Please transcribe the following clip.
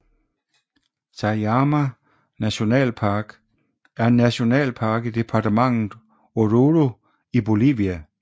Sajama nationalpark er en nationalpark i departementet Oruro i Bolivia